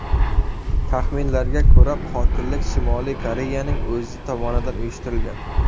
Taxminlarga ko‘ra, qotillik Shimoliy Koreyaning o‘zi tomonidan uyushtirilgan.